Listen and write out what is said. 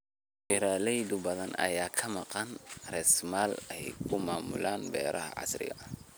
Beeraley badan ayaa ka maqan raasamaal ay ku maamulaan beeraha casriga ah.